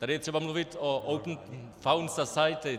Tady je třeba mluvit o Open Fund Society.